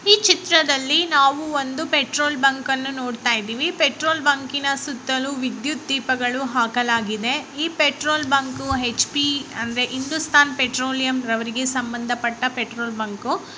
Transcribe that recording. ಈ ಚಿತ್ರದಲ್ಲಿ ನಾವು ಒಂದು ಪೆಟ್ರೋಲ್ ಬಂಕ್ ಅನ್ನು ನೋಡ್ತಾ ಇದ್ದೀವಿ ಪೆಟ್ರೋಲ್ ಬಂಕಿ ನ ಸುತ್ತಲೂ ವಿದ್ಯುತ ದೀಪಗಳನ್ನು ಹಾಕಲಾಗಿದೆ ಈ ಪೆಟ್ರೋಲ್ ಬಂಕ್ ಹೆಚ್ ಪಿ ಅಂದ್ರೆ ಹಿಂದುಸ್ತಾನ್ ಪೆಟ್ರೊಲಿಮ ರವರಿಗೆ ಸಂಬಂಧಪಟ್ಟ ಪೆಟ್ರೋಲ್ ಬಂಕು .